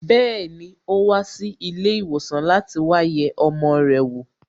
Bẹẹni, o wa si ilé ìwòsàn láti wá yẹ ọmọ rẹ̀ wo